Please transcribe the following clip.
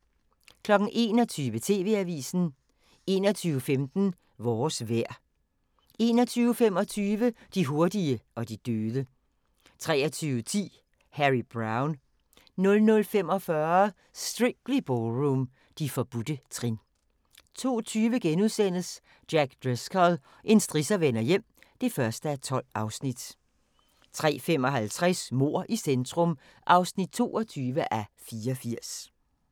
21:00: TV-avisen 21:15: Vores vejr 21:25: De hurtige og de døde 23:10: Harry Brown 00:45: Strictly Ballroom – De forbudte trin 02:20: Jack Driscoll – en strisser vender hjem (1:12)* 03:55: Mord i centrum (22:84)